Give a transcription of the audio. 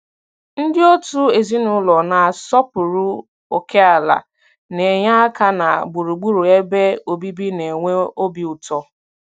Ndị òtù ezinụlọ na-asọpụrụ ókèala na-enye aka na gburugburu ebe obibi na-enwe obi ụtọ.